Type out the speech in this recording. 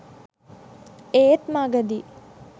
ඒත් මගදී